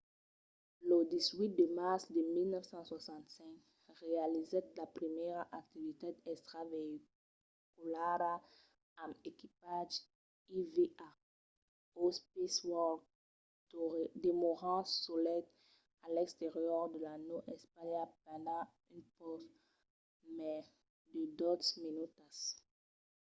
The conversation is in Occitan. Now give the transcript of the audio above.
lo 18 de març de 1965 realizèt la primièra activitat extraveïculara amb equipatge eva o spacewalk demorant solet a l'exterior de la nau espaciala pendent un pauc mai de dotze minutas